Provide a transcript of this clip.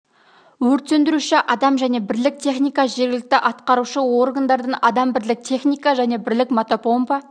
өрт сөндіруші адам және бірлік техника жергілікті атқарушы органдардан адам бірлік техника және бірлік мотопомпа